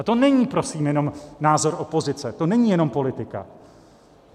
A to není prosím jenom názor opozice, to není jenom politika.